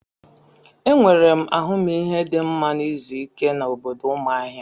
Enwere m ahụmihe dị mma na izu ike na obodo Umuahia.